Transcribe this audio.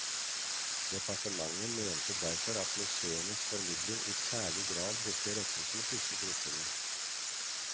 Departementet mente derfor at museenes formidling i særlig grad burde rettes mot disse gruppene.